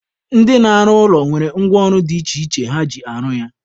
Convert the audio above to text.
Ndị na-arụ ụlọ nwere ngwa ọrụ dị iche iche ha ji arụ ya.